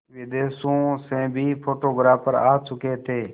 विदेशों से भी फोटोग्राफर आ चुके थे